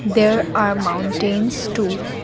there are mountains two.